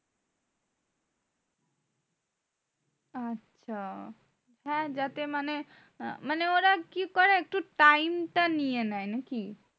আচ্ছা হ্যাঁ যাতে মানে মানে ওরা কি করে একটু টা নিয়ে নেয় নাকি?